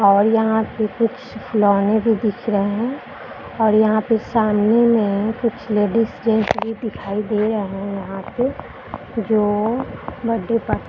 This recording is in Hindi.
और यहाँ पे कुछ खिलौने भी दिख रहे हैं और यहाँ पे सामने में कुछ लेडीज जेंट्स भी दिखाई दे रहे हैं यहाँ पे जो बर्थडे पार्टी --